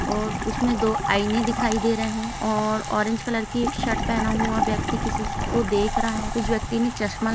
और उसमें दो आईने दिखाई दे रहे हैं और ऑरेंज कलर की एक शर्ट पहना हुआ व्यक्ति किसी से को देख रहा हैं। उस व्यक्ति ने चश्मा--